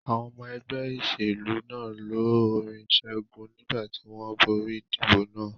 Àwọn ọmọ ẹgbẹ́ ìṣèlú náà lọ orin ìṣẹ́gun nígbà tí wọ́n borí ìdìbò náà.